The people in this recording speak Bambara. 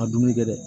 A dumuni kɛ dɛ